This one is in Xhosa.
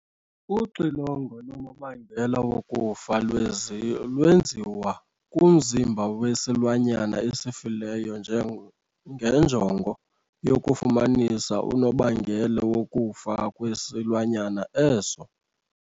Uxilongo lonobangela wokufa lwenziwa kumzimba wesilwanyana esifileyo ngenjongo yokufumanisa unobangela wokufa kwesilwanyana eso.